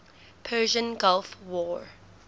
persian gulf war